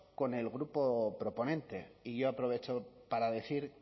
con el grupo proponente y yo aprovecho para decir